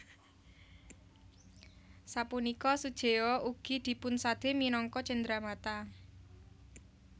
Sapunika sujeo ugi dipunsade minangka cenderamata